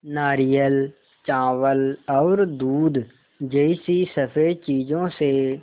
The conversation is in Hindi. नारियल चावल और दूध जैसी स़फेद चीज़ों से